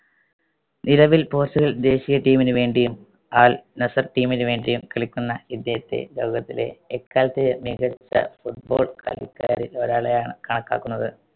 നിലവിൽ പോർച്ചുഗൽ ദേശീയ team ന് വേണ്ടിയും അൽ നസർ team ന് വേണ്ടിയും കളിക്കുന്ന ഇദ്ദേഹത്തെ ലോകത്തിലെ എക്കാലത്തെയും മികച്ച football കളിക്കാരിൽ ഒരാളായാണ് കണക്കാക്കുന്നത്.